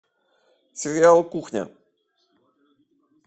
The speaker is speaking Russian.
сериал кухня